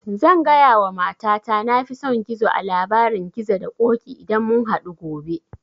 Zan gaya wa mata ta na fi son gizo a labarin gizo da ƙoƙi idan mun hadu gobe